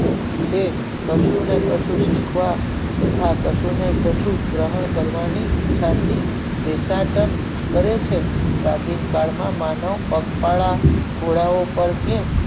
તે કશુ ને કશું શીખવા તથા કશું ને કશું ગ્રહણ કરવાની ઇચ્છા થી નિસંતાન કરે છે હે પ્રાચીનકાળ માં માનવ પગ પાળા ઘોડા ઓ પર